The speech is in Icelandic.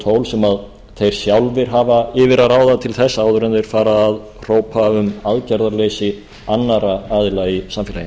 tól sem þeir sjálfir hafa yfir að ráða til þess áður en þeir fara að hrópa um aðgerðarleysi annarra aðila í samfélaginu